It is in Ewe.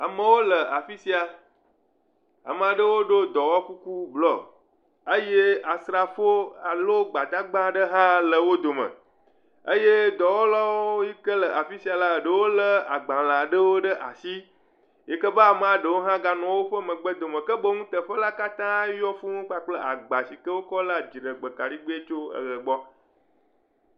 Amewo le afi sia, ame aɖewo ɖo dɔwɔkuku blɔ eye asrafowo alo gbadagba ɖe hã le wo dome eye dɔwɔlawo yi ke le afi sia la lé agbalẽ aɖewo ɖe asi, yi ke be ame ɖewo hã gale megbe na wo ke boŋ teƒe la katã yɔ kple agba sike wo lea dziɖegbekaɖigbe tso eʋe gbɔ.